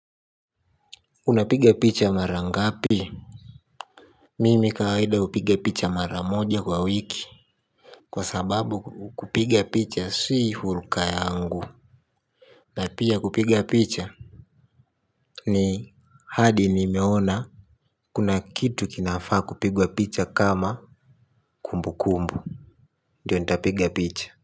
Unapiga picha mara ngapi mimi kawaida upiga picha mara moja kwa wiki kwa sababu kupigia picha si huruka yangu na pia kupiga picha ni hadi nimeona kuna kitu kinafaa kupigwa picha kama kumbu kumbu ndio nitapiga picha.